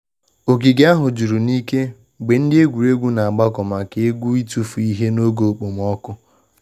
Ogige ahu juru n'ike mgbe ndi egwuregwu na agbako maka egwu itufu ihe n’oge okpomọkụ